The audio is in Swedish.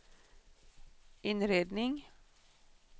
inredning